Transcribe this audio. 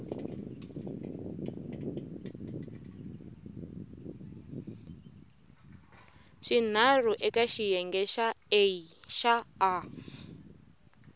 swinharhu eka xiyenge xa a